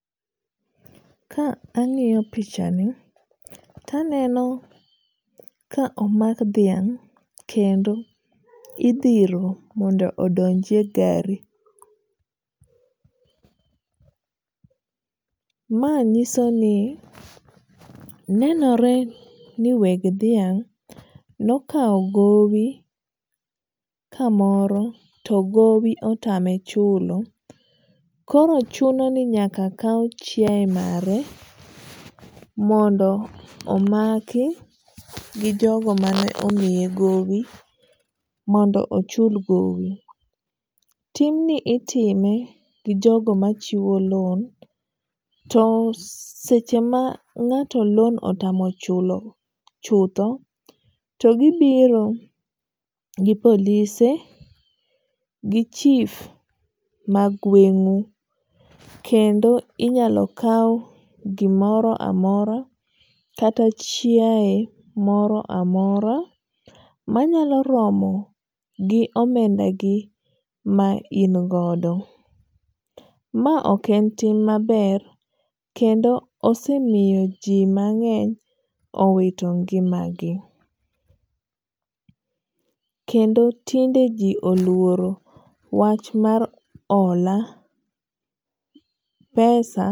Ka ang'iyo pichani to aneno ka omak dhiang', kendo idhiro mondo odonjie gari, ma nyisoni nenore ni we dhiang' nokawo gowi kamoro togowi otame chulo, koro chunoni nyaka kaw chiaye mare mondo omaki gi jogo mane omiye gowi mondo ochul gowi. Timni itime gi jogo machiwo loan to seche ma ng'ato loan otamo chulo chutho to gibiro gi polise gi chief mag gweng'u kendo inyalo kau gimoro amora kata chiaye moro amora manyalo romo gi omendagi ma ingodo. Ma ok en tim maber kendo osemiyoji mang'eny owito ng'imagi, kendo tinde ji oluoro wach mar ola pesa.